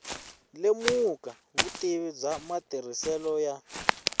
lemuka vutivi bya matirhiselo ya